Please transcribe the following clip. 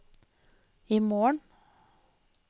imorgen